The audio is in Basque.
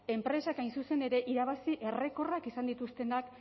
enpresak hain zuzen ere irabazi errekorrak izan dituztenak